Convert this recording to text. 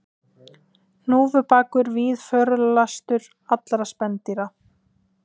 Hnúfubakur víðförlastur allra spendýra